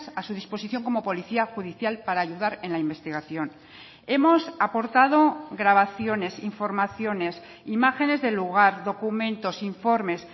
a su disposición como policía judicial para ayudar en la investigación hemos aportado grabaciones informaciones imágenes del lugar documentos informes